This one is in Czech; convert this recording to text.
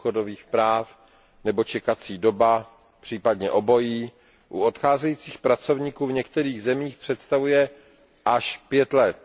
důchodových práv nebo čekací doba, případně obojí, u odcházejících pracovníků v některých zemích představuje až 5 let!